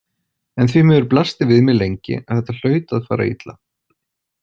En því miður blasti við mér lengi að þetta hlaut að fara illa.